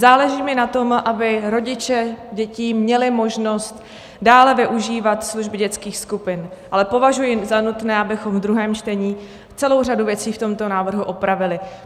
Záleží mi na tom, aby rodiče dětí měli možnost dále využívat služby dětských skupin, ale považuji za nutné, abychom v druhém čtení celou řadu věcí v tomto návrhu opravili.